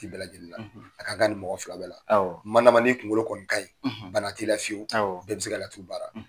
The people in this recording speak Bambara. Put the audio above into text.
A ka kan nin mɔgɔ fila bɛɛ la . Kuma laban n'i kunkolo kɔni ka ɲi bana t'i la fiyewu bɛɛ bɛ se ka laturu baara.